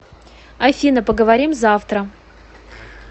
афина поговорим завтра